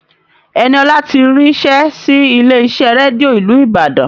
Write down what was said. Ẹniọlá ti ríṣẹ́ sí ilé iṣẹ́ rédíò ìlú Ìbàdàn